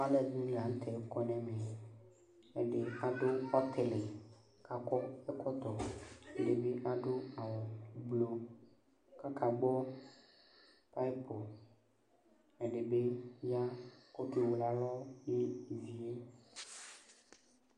Aluɛdini la nu tɛ akɔ nɛmɛ ɛdini adu ɔtili kakɔ ɛkɔtɔ ɛdibi adu awu kaka gbɔ ɛdibi bi ya ku oke wele alɔ